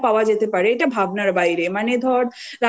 stay তে এতও সুবিধে পাওয়া যেতে পারে এটা ভাবনার